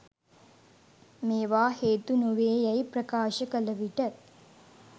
මේවා හේතු නොවේ යැයි ප්‍රකාශ කළ විට